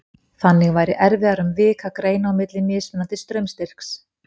Þannig væri erfiðara um vik að greina á milli mismunandi straumstyrks.